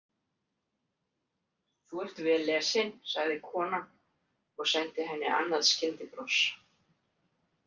Þú ert vel lesin, sagði konan og sendi henni annað skyndibros.